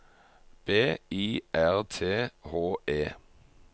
B I R T H E